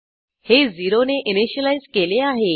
हे 0 ने इनिशियलाईज केले आहे